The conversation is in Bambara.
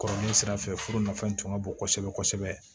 Kɔrɔlen sira fɛ furu nafan tun ka bon kosɛbɛ kosɛbɛ